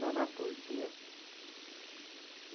Trabalhava por dia.